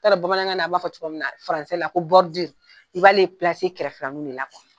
Ni t'a dɔn Bamanankan na b'a fɔ cogo min na faransikan na ko i b'ale gɛrɛfɛlaninw de la kuwa.